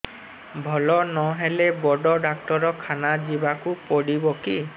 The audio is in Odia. ଭଲ ନହେଲେ ବଡ ଡାକ୍ତର ଖାନା ଯିବା କୁ ପଡିବକି